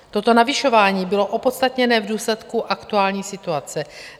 Toto navyšování bylo opodstatněné v důsledku aktuální situace.